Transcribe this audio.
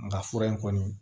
Nga fura in kɔni